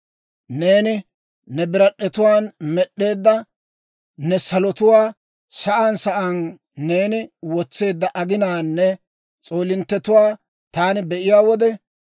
Neeni ne birad'd'etuwaan med'd'eedda ne salotuwaa, Sa'aan sa'aan neeni wotseedda aginaanne s'oolinttetuwaa taani be'iyaa wode,